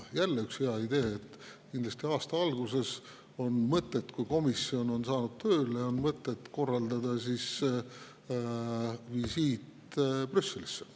Jälle üks hea idee: aasta alguses, kui komisjon on saanud tööle, on kindlasti mõtet korraldada visiit Brüsselisse.